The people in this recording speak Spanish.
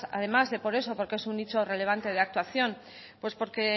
además de por eso porque es un nicho relevante de actuación pues porque